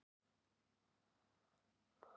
Öll olíufélög hafa hækkað